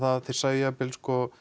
þeir sæju jafnvel